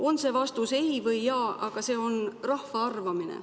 On see vastus ei või jaa, aga see on rahva arvamine.